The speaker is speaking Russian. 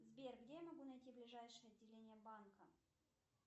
сбер где я могу найти ближайшее отделение банка